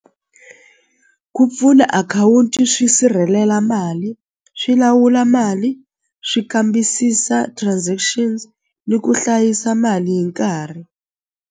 Ku pfuna akhawunti swi sirhelela mali swi lawula mali swi kambisisa transactions ni ku hlayisa mali hi nkarhi.